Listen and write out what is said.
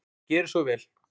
Gerið svo vel!